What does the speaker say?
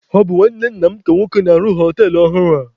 Ọ bụ nwanne nna m nke nwoke na-arụ họtelụ ọhụrụ a.